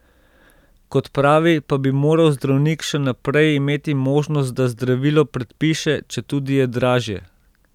Kot pravi, pa bi moral zdravnik še naprej imeti možnost, da zdravilo predpiše, četudi je dražje.